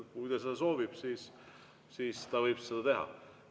Kui ta seda soovib, siis ta võib seda teha.